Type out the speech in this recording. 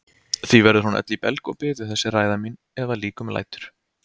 Því verður hún öll í belg og biðu þessi ræða mín ef að líkum lætur.